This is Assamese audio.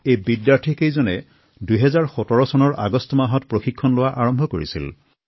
এই শিক্ষাৰ্থী কেইজনে ২০১৭ চনৰ আগষ্টত প্ৰশিক্ষণ আৰম্ভ কৰিছিল